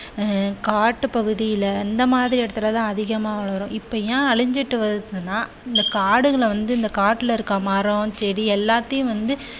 அஹ் காட்டுப் பகுதியில இந்த மாதிரி இடத்தில் தான் அதிகமாக வளரும். இப்போ ஏன் அழிஞ்சுட்டு வருதுன்னா இந்த காடுகள வந்து இந்த காட்டுல இருக்குற மரம் செடி எல்லாத்தையும் வந்து